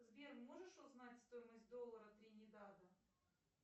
сбер можешь узнать стоимость доллара тринидада